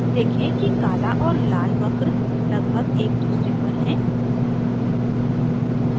देखें कि काला और लाल वक्र लगभग एक दूसरे पर हैं